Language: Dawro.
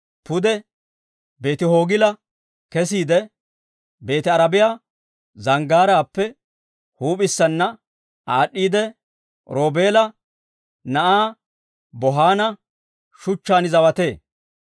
pude Beeti-Hoogila kesiide, Beeti-Arabiyaa Zanggaaraappe huup'issana aad'd'iidde, Roobeela na'aa Bohaana shuchchaan zawatee.